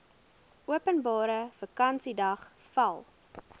openbare vakansiedag val